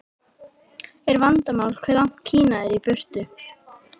Er vandamálið hvað Kína er langt í burtu?